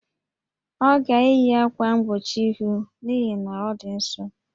Ọ ga-eyi ákwà mgbochi íhù n'ihi na ọ dị ǹsọ́